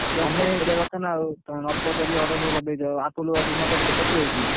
ତମେ ପଚାରିବା କଥା ନାଉ ନ ପଚାରି order କରିଦେଇଛ Apple କେତେ ଦେଇଥିଲ?